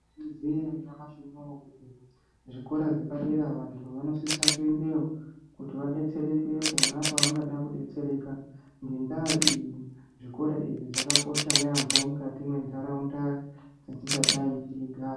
Maizviziya ere nyamushi uno kuti zvikora zvepadera vantu vanosisa kuendayo kuti vadetsereke pona pavanoda kudetsereka. Ngendaa iyi zvikora izvi zvakakosha yaamho mukati mentaraunda dzetingadai teigara.